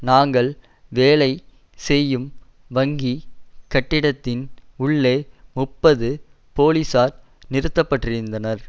நாங்கள் வேலை செய்யும் வங்கி கட்டிடத்தின் உள்ளே முப்பது போலிசார் நிறுத்தப்பட்டிருந்தனர்